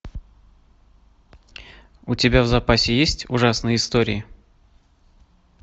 у тебя в запасе есть ужасные истории